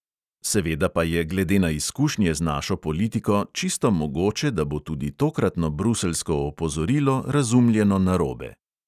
Seveda pa je glede na izkušnje z našo politiko čisto mogoče, da bo tudi tokratno bruseljsko opozorilo razumljeno narobe.